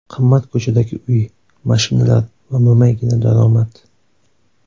Qimmat ko‘chadagi uy, mashinalar va mo‘maygina daromad.